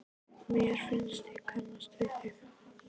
Mér finnst ég kannast við þig!